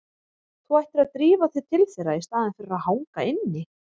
Þú ættir að drífa þig til þeirra í staðinn fyrir að hanga inni.